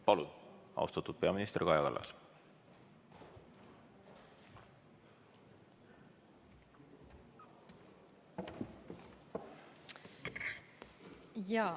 Palun, austatud peaminister Kaja Kallas!